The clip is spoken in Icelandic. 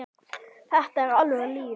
Þetta var alvöru líf.